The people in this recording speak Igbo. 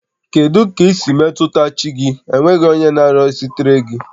Kedu ka i si metụta chi gị n'enweghị onye na-arịọchitere gị?